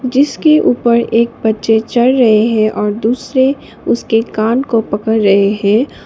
जिसके ऊपर एक बच्चे चढ़ रहे हैं और दूसरे उसके कान को पकड़ रहे है।